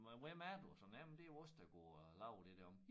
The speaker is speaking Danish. Men hvem er du sådan jamen det jo os der går og laver det deromme